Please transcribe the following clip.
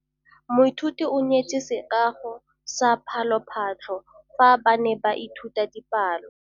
Moithuti o neetse sekaô sa palophatlo fa ba ne ba ithuta dipalo.